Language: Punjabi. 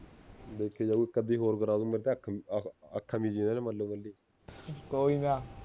ਕੋਈ ਨਾ